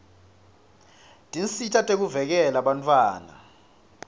tinsita tekuvikela bantfwana